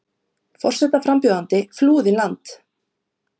Forsetaframbjóðandi flúði land